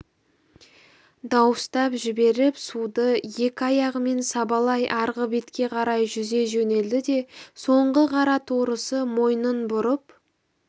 дауыстап жіберіп суды екі аяғымен сабалай арғы бетке қарай жүзе жөнелді де соңғы қара торысы мойнын бұрып